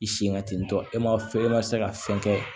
I sen katitɔ e ma fɔ e ma se ka fɛn kɛ